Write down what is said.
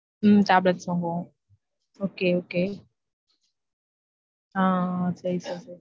உம் tablet வாங்குவொம் okay okay ஆஹ் சரி sir